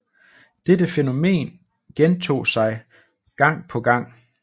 Dette fænomen gentog sig gang på gang